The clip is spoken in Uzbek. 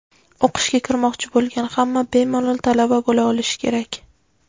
o‘qishga kirmoqchi bo‘lgan hamma bemalol talaba bo‘la olishi kerak.